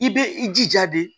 I bɛ i jija de